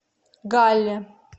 галле